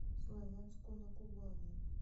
славянску на кубани